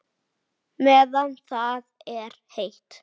Meðan það er heitt.